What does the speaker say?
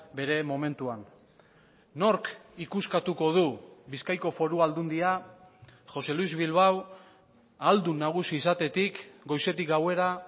bere momentuan nork ikuskatuko du bizkaiko foru aldundia josé luis bilbao ahaldun nagusi izatetik goizetik gauera